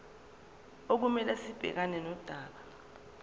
okumele sibhekane nodaba